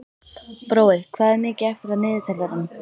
Brói, hvað er mikið eftir af niðurteljaranum?